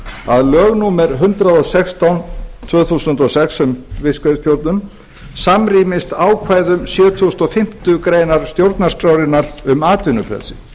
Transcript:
að lög númer hundrað og sextán tvö þúsund og sex um fiskveiðistjórnun samræmi ákvæðum sjötugasta og fimmtu grein stjórnarskrárinnar um atvinnufrelsi